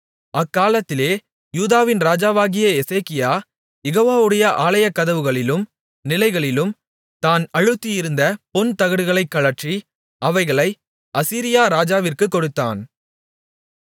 அக்காலத்திலே யூதாவின் ராஜாவாகிய எசேக்கியா யெகோவாவுடைய ஆலயக்கதவுகளிலும் நிலைகளிலும் தான் அழுத்தியிருந்த பொன் தகடுகளைக் கழற்றி அவைகளை அசீரியா ராஜாவிற்குக் கொடுத்தான்